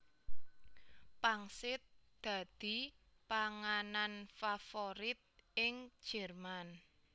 Pangsit dadi panganan favorit ing Jerman